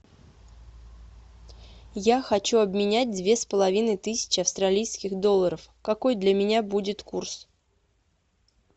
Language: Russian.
я хочу обменять две с половиной тысячи австралийских долларов какой для меня будет курс